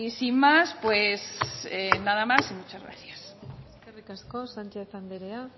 sin más pues nada más y muchas gracias eskerrik asko sánchez andrea